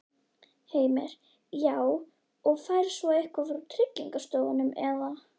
Heimir: Já, og færð svo eitthvað frá Tryggingastofnun eða?